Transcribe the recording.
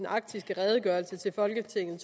arktiske redegørelse til folketinget